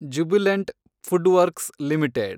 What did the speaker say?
Jubilant FoodWorks limited